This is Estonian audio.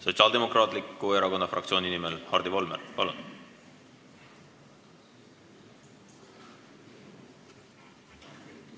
Sotsiaaldemokraatliku Erakonna fraktsiooni nimel Hardi Volmer, palun!